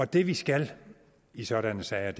det vi skal i sådanne sager